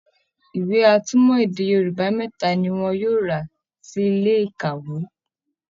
ìwé atúmọ̀ èdè Yorùbá mẹ́ta ni wọn yóò rà sí ilé ìkàwé